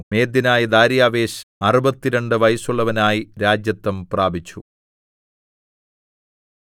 മേദ്യനായ ദാര്യാവേശ് അറുപത്തിരണ്ട് വയസ്സുള്ളവനായി രാജത്വം പ്രാപിച്ചു